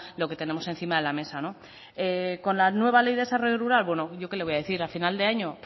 lo que tenemos encima de la mesa con la nueva ley de desarrollo rural bueno yo qué le voy a decir a final de año